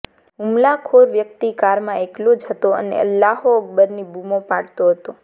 હુમલાખોર વ્યક્તિ કારમાં એકલો જ હતો અને અલ્લાહો અકબરની બુમો પાડતો હતો